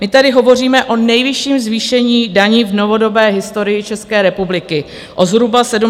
My tady hovoříme o nejvyšším zvýšení daní v novodobé historii České republiky, o zhruba 73 miliardách.